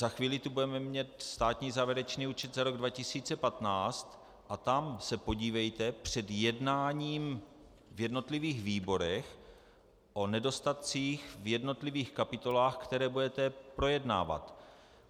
Za chvíli tu budeme mít státní závěrečný účet za rok 2015 a tam se podívejte před jednáním v jednotlivých výborech o nedostatcích v jednotlivých kapitolách, které budete projednávat.